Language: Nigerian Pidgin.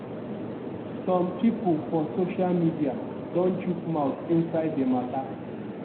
some pipo for social media don chook mouth inside di mata.